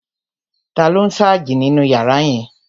Taló n sáàjì nínu yàrá yẹn?